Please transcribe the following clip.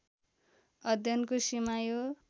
अध्ययनको सीमा यो